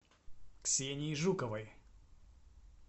ксении жуковой